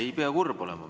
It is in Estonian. Ei pea kurb olema.